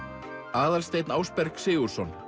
Aðalsteinn Ásberg Sigurðsson